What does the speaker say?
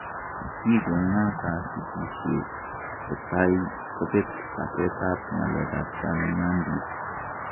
Kikongakasikishe kotai kopet kaset ap ngalek ap chamnyandit.